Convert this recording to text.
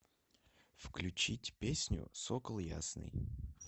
включить песню сокол ясный